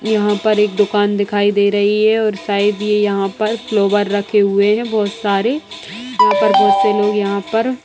यहाँ पर एक दुकान दिखाई दे रही है और शायद ये यहाँ पर फ्लोवर रखे हुए हैं बहोत सारे यहाँ पर बहोत से लोग यहाँ पर --